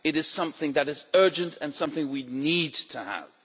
it something that is urgent and something we need to have.